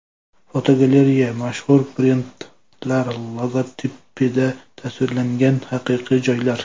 Fotogalereya: Mashhur brendlar logotipida tasvirlangan haqiqiy joylar.